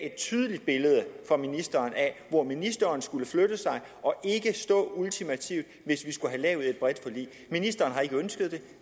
et tydeligt billede af hvor ministeren skulle flytte sig og ikke stå ultimativt hvis vi skulle have lavet et bredt forlig ministeren har ikke ønsket det